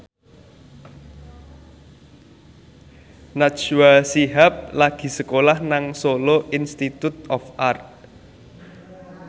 Najwa Shihab lagi sekolah nang Solo Institute of Art